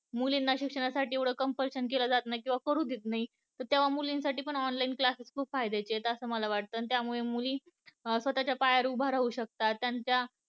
मुलींना शिक्षणासाठी एव्हडं compulsion केलं जात नाही, किंवा करू देत नाही तर तेव्हा मुली साठी पण online class खूप फायद्याचे आहेत असं मला वाटत त्यामुळे मुली स्वतःच्या पायावर उभं राहू शकतात त्यांच्या